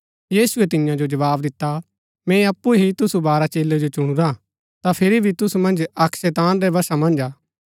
यीशुऐ तियां जो जवाव दिता मैंई अप्पु ही तुसु बारह चेलै जो चुनुरा ता फिरी भी तुसु मन्ज अक्क शैतान रै वशा मन्ज हा